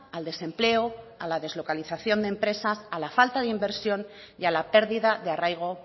al desempleo a la deslocalización de empresas a la falta de inversión y a la pérdida de arraigo